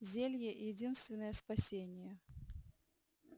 зелье единственное спасение